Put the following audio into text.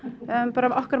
okkar